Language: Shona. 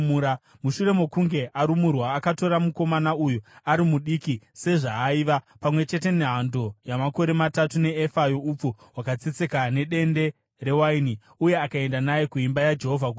Mushure mokunge arumurwa, akatora mukomana uyu, ari mudiki sezvaaiva, pamwe chete nehando yamakore matatu neefa youpfu hwakatsetseka nedende rewaini, uye akaenda naye kuimba yaJehovha kuShiro.